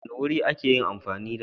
wani wuri a ka yi amfani da